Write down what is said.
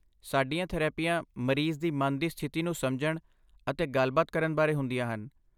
ਸਾਡੀਆਂ ਥੈਰੇਪੀਆਂ ਮਰੀਜ਼ ਦੀ ਮਨ ਦੀ ਸਥਿਤੀ ਨੂੰ ਸਮਝਣ ਅਤੇ ਗੱਲਬਾਤ ਕਰਨ ਬਾਰੇ ਹੁੰਦੀਆਂ ਹਨ।